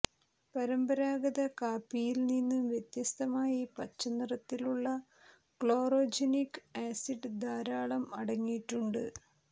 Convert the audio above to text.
പരമ്പരാഗത കാപ്പിയിൽ നിന്ന് വ്യത്യസ്തമായി പച്ച നിറത്തിലുള്ള ക്ലോറോജനിക് ആസിഡ് ധാരാളം അടങ്ങിയിട്ടുണ്ട്